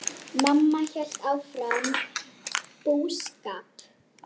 Mamma hélt áfram búskap.